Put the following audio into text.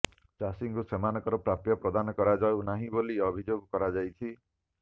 ଚାଷୀଙ୍କୁ ସେମାନଙ୍କର ପ୍ରାପ୍ୟ ପ୍ରଦାନ କରାଯାଉ ନାହିଁ ବୋଲି ଅଭିଯୋଗ କରାଯାଇଛି